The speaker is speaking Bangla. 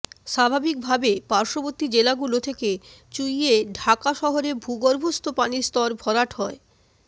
স্বাভাবিকভাবে পার্শ্ববর্তী জেলাগুলো থেকে চুইয়ে ঢাকা শহরের ভূগর্ভস্থ পানির স্তুর ভরাট হয়